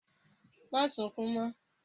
Má sunkún mọ́!